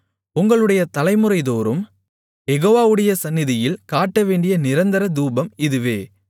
உங்களுடைய தலைமுறைதோறும் யெகோவாவுடைய சந்நிதியில் காட்டவேண்டிய நிரந்தர தூபம் இதுவே